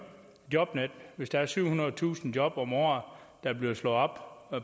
jobnet hvis der er syvhundredetusind job om året der bliver slået op